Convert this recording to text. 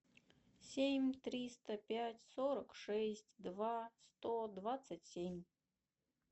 семь триста пять сорок шесть два сто двадцать семь